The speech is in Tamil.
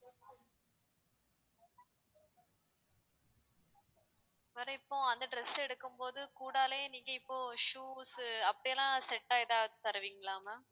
வேற இப்போ அந்த dress எடுக்கும்போது கூடாலையே நீங்க இப்போ shoes உ அப்படிலாம் set ஆ எதாவது தருவீங்களா ma'am